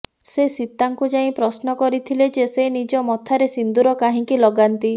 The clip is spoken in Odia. ସେ ସୀତାଙ୍କୁ ଯାଇ ପ୍ରଶ୍ନ କରିଥିଲେ ଯେ ସେ ନିଜ ମଥାରେ ସିନ୍ଦୁର କାହିଁକି ଲଗାନ୍ତି